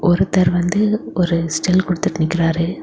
ஒருத்தர் வந்து ஒரு ஸ்டில் கொடுத்துடு நிக்கிறாரு.